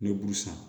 N bɛ bu san